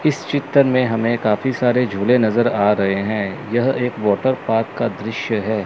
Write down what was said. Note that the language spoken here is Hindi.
इस चित्र में हमें काफी सारे झूले नजर आ रहे हैं यह एक वाटर पार्क का दृश्य है।